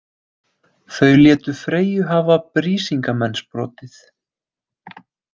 Þau létu Freyju hafa Brísingamensbrotið.